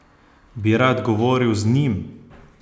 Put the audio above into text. Bi rad govoril z njim?